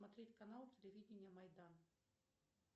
смотреть канал телевидения майдан